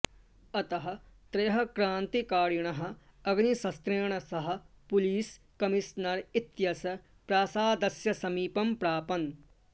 अतः त्रयः क्रान्तिकारिणः अग्निशस्त्रेण सह पुलीस् कमिशनर् इत्यस्य प्रासादस्य समीपं प्रापन्